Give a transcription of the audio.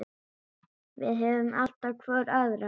Við höfum alltaf hvor aðra.